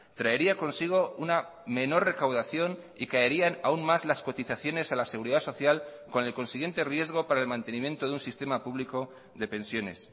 traería consigo una menor recaudación y caerían aún más las cotizaciones a la seguridad social con el consiguiente riesgo para el mantenimiento de un sistema público de pensiones